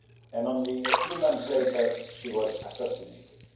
and only a few months later she was assassinated.